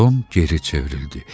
Tom geri çevrildi.